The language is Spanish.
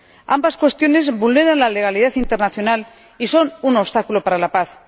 Ambas cuestiones vulneran la legalidad internacional y son un obstáculo para la paz.